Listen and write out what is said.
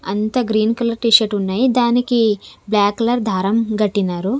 అంత green colour T shirt ఉన్నాయి దానికి బ్లాక్ కలర్ దారం గట్టినారు.